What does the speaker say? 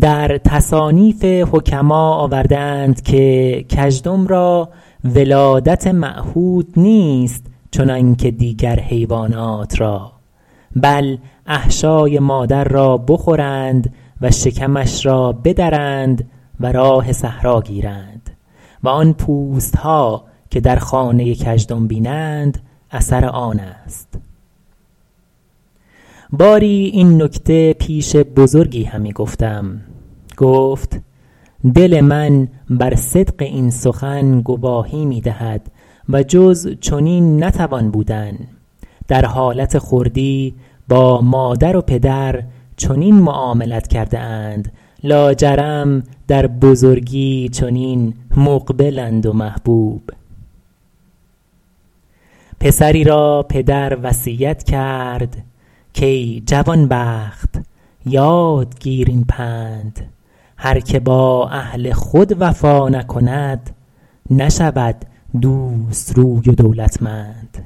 در تصانیف حکما آورده اند که کژدم را ولادت معهود نیست چنانکه دیگر حیوانات را بل احشای مادر را بخورند و شکمش را بدرند و راه صحرا گیرند و آن پوست ها که در خانه کژدم بینند اثر آن است باری این نکته پیش بزرگی همی گفتم گفت دل من بر صدق این سخن گواهی می دهد و جز چنین نتوان بودن در حالت خردی با مادر و پدر چنین معاملت کرده اند لاجرم در بزرگی چنین مقبلند و محبوب پسری را پدر وصیت کرد کای جوانبخت یاد گیر این پند هر که با اهل خود وفا نکند نشود دوست روی و دولتمند